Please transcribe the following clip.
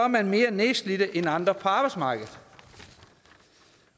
man mere nedslidt end andre på arbejdsmarkedet